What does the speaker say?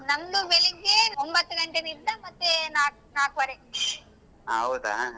ಹ ಹೌದಾ.